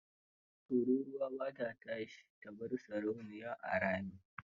Tururwa ba ta tashi ta bar sarauniya a rami.